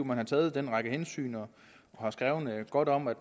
man har taget den række hensyn og har skrevet godt om at